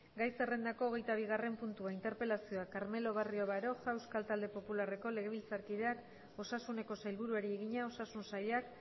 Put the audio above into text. gai zerrendako hogeita bigarrena puntua interpelazioa carmelo barrio baroja euskal talde popularreko legebiltzarkideak osasuneko sailburuari egina osasun sailak